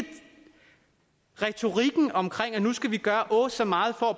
retorikken om at nu skal vi gøre åh så meget for at